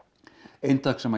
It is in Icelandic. eintak sem